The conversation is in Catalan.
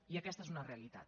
i aquesta és una realitat